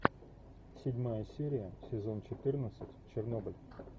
седьмая серия сезон четырнадцать чернобыль